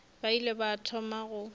ba ile ba thoma go